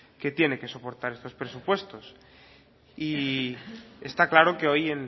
que tiene que soportar estos presupuestos y está claro que hoy